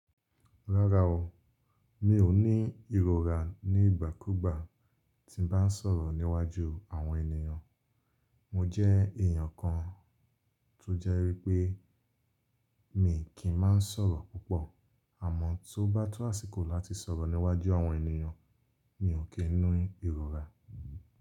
Rárá o, mi ò ní ìrọ̀rà nígbà kúgbà tí n bá sọ̀rọ̀ níwájú àwọn ènìyàn. Mo jẹ́ èèyàn kan tó jẹ́ wípé mi kì í máa sọ̀rọ̀ púpọ̀, àmọ́ tó bá tọ́ àsìkò láti sọ̀rọ̀ níwájú àwọn ènìyàn mi ò kín ní ìrọ̀rà.